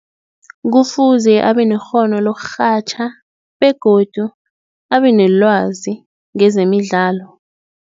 Kufuze abanekghono lokurhatjha begodu abenelwazi ngezemidlalo.